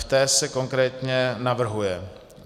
V té se konkrétně navrhuje